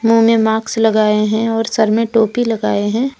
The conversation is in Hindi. मुंह में मार्क्स लगाए हैं और सर में टोपी लगाए हैं।